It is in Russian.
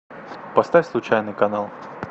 поставь случайный канал